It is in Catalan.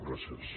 gràcies